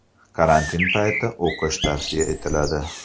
Karantin payti o‘qish tavsiya etiladi.